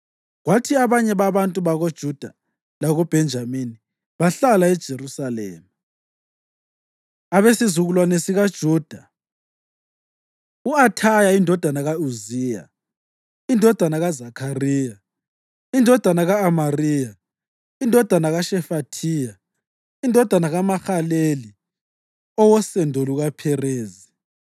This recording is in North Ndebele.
kwathi abanye babantu bakoJuda lakoBhenjamini bahlala eJerusalema): Abesizukulwane sikaJuda: U-Athaya indodana ka-Uziya, indodana kaZakhariya, indodana ka-Amariya, indodana kaShefathiya, indodana kaMahalaleli owosendo lukaPherezi;